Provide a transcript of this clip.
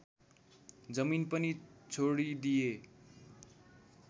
जमिन पनि छोडिदिए